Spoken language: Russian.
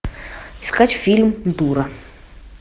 искать фильм дура